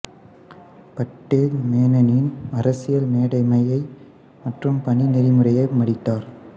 பட்டேல் மேனனின் அரசியல் மேதைமை மற்றும் பணி நெறிமுறையை மதித்தார்